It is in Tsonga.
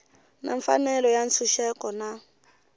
na mfanelo ya ntshunxeko na